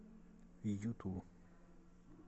юту